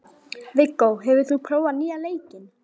Viggó, hefur þú prófað nýja leikinn?